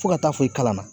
Fo ka taa fɔ i kalan na